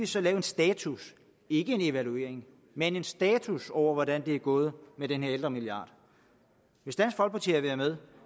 så lave en status ikke en evaluering men en status over hvordan det er gået med den her ældremilliard hvis dansk folkeparti havde været med